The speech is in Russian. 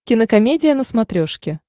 кинокомедия на смотрешке